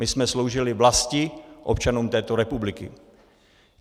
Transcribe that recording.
My jsme sloužili vlasti, občanům této republiky.